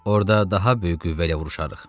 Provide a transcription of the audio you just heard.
Orda daha böyük qüvvə ilə vuruşarıq.